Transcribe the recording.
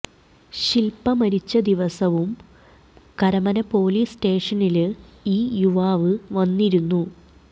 ശില്പ മരിച്ച ദിവസവും കരമന പൊലീസ് സ്റ്റേഷനില് ഈ യുവാവ് വന്നിരുന്നു